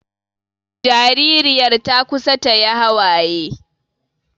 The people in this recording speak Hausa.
Jaririyar ta kusa ta yi hawaye